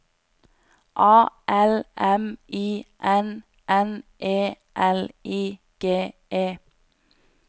A L M I N N E L I G E